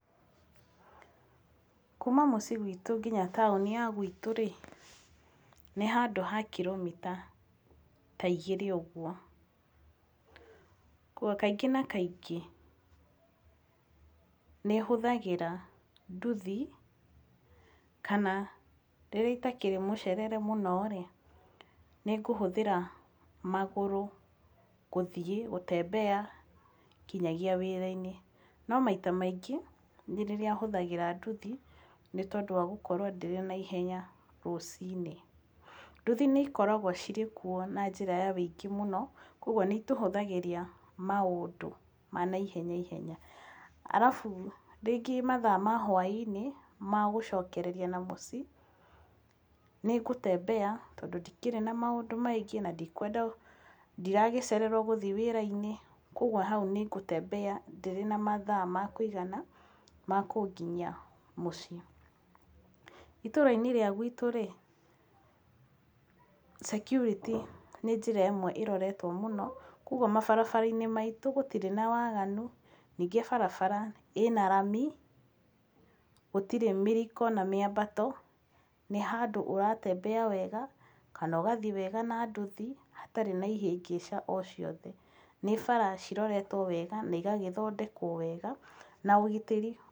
Kuuma mũciĩ gwitũ nginya taũni ya gwitũ rĩ nĩ handũ ha kiromita ta igĩrĩ ũguo. Kaingĩ na kaingĩ nĩ hũthagĩra nduthi kana rĩrĩa itakĩrĩ mũcerere mũno nĩ ngũhũthĩra magũrũ gũthiĩ kutembea nginyagia wĩra-inĩ. No maita maingĩ nĩ rĩrĩa hũthagĩra nduthi nĩ tondũ wa gũkorwo ndĩrĩ na ihenya rũcinĩ. Nduthi nĩ ikoragwo cirĩ kuo na njĩra ya ũingĩ mũno koguo nĩ itũhũthagĩria maũndũ ma naihenya ihenya. arabu rĩngĩ mathaa ma hwainĩ ma gũcokereria na mũciĩ nĩ ngũ tembea tondũ ndikĩrĩ na maũndũ maingĩ, ndikwenda ndiragĩcererwo gũthiĩ wĩra-inĩ. Koguo hau ni gũ tembea ndĩrĩ na mathaa ma kũigana kũnginyia mũciĩ. Itũra-inĩ rĩa gwitũ rĩ, security nĩ njĩra ĩmwe ĩroretwo mũno mũno, koguo mabarabara-inĩ maitũ gũtirĩ na waaganu. Ningĩ barabara ĩna rami, gũtirĩ mĩriko na mĩambato. Nĩ handũ ũra tembea wega na ũgathiĩ kana ũgathiĩ wega na nduthi hatarĩ na ihĩngĩca o ciothe. Nĩ bara ciroretwo wega na igagĩthondekwo wega na ũgitĩri...